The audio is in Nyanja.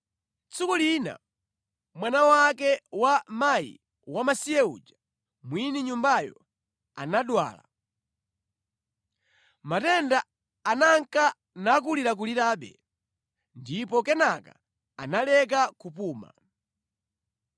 Tsiku lina mwana wake wa mkazi wamasiye uja, mwini nyumbayo, anadwala. Matenda ananka nakulirakulirabe, ndipo kenaka analeka kupuma.